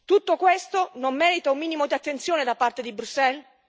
Tutto questo non merita un minimo di attenzione da parte di Bruxelles?